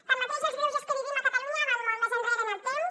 tanmateix els greuges que vivim a catalunya van molt més enrere en el temps